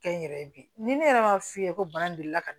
Kɛ n yɛrɛ ye bi ni ne yɛrɛ ma f'i ye ko bana de la ka na